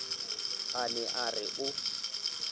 a ne a re o